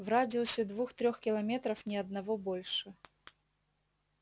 в радиусе двух-трех километров ни одного больше